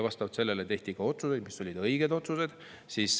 Vastavalt sellele tehti otsused, mis olid õiged otsused.